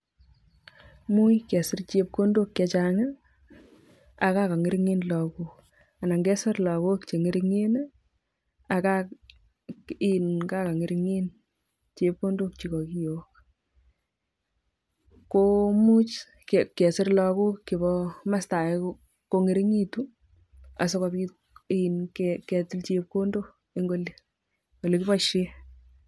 Muj kesir chepkondok chechang aka kongeringen lagook ana kesir lagook chengeringen ii ak kengeren chepkondok ak chepkondok chekiboishen